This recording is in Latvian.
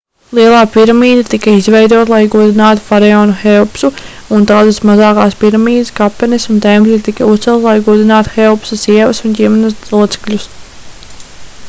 lielā piramīda tika izveidota lai godinātu faraonu heopsu un daudzas mazākās piramīdas kapenes un tempļi tika uzcelti lai godinātu heopsa sievas un ģimenes locekļus